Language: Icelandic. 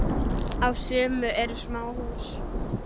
Á sumum eru smáhús.